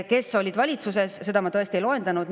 Kes olid valitsuses, neid ma tõesti ei loetlenud.